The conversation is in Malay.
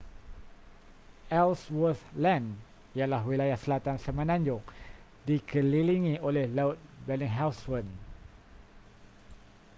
ellsworth land ialah wilayah selatan semenanjung dikelilingi oleh laut bellingshausen